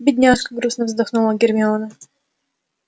бедняжка грустно вздохнула гермиона